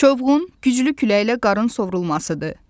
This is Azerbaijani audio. Çovğun güclü küləklə qarın sovurulmasıdır.